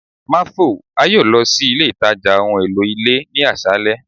marvel, a yoo lọ si ile itaja ohun elo ile ni aṣalẹ